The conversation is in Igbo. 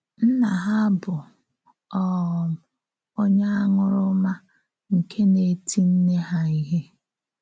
Nna ha bụ um onye àṅụrụma nke na-eti nne ha ihe.